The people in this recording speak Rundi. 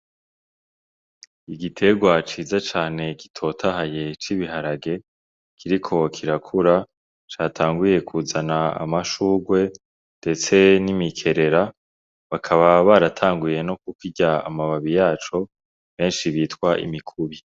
Igiterwa ciza cane gitotahaye c'ibiharage kiriko kirakura catanguye kuzana amashurwe ndetse n'imikerera bakaba baratanguye no kukirya amababi yaco benshi bita imikubi.